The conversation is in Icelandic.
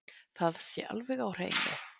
Það sé alveg á hreinu